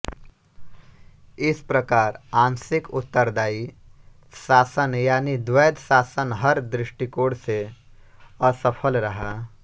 इस प्रकार आंशिक उत्तरदायी शासन यानी द्वैध शासन हर दृष्टिकोण से असफल रहा